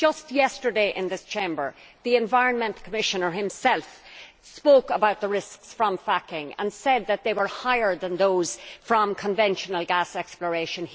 Just yesterday in this Chamber, the Commissioner for the Environment himself spoke about the risks from fracking and said that they were higher than those from conventional gas exploration.